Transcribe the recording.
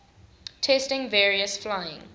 testing various flying